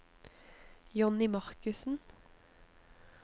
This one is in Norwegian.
Johnny Markussen